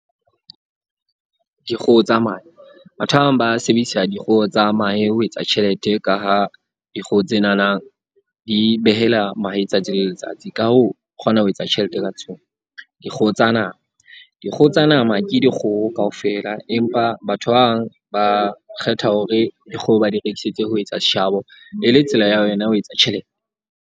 Dikgoho tsa mahe. Batho ba bang ba sebedisa dikgoho tsa mahe ho etsa tjhelete ka ha dikgoho tsenana di behela mahe tsatsi le letsatsi. Ka hoo, o kgona ho etsa tjhelete ka tsona. Dikgoho tsa nama. Dikgoho tsa nama ke dikgoho kaofela, empa batho ba bang ba kgetha hore dikgoho ba di rekisetse ho etsa seshabo. E le tsela ya yona ya ho etsa tjhelete.